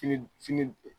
Fili fili